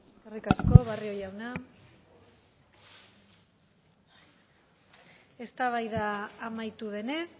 eskerrik asko barrio jauna eztabaida amaitu denez